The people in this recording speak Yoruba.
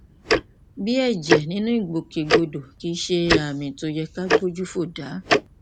bí ẹjẹ nínú ìgbòkègbodò kìí ṣe àmì tí ó yẹ kí a gbójú fò dá